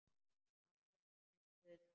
Amma hélt með Guði.